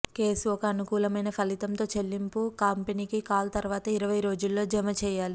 case ఒక అనుకూలమైన ఫలితం తో చెల్లింపు కంపెనీకి కాల్ తరువాత ఇరవై రోజుల్లో జమ చేయాలి